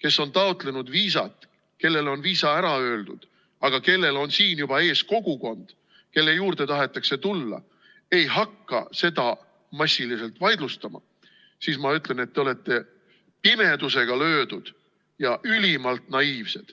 kes on taotlenud viisat, kellele on viisa ära öeldud, aga kellel on siin juba ees kogukond, kelle juurde tahetakse tulla, ei hakka seda massiliselt vaidlustama, siis ma ütlen, et te olete pimedusega löödud ja ülimalt naiivsed.